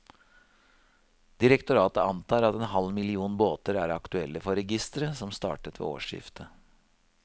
Direktoratet antar at en halv million båter er aktuelle for registeret, som startet ved årsskiftet.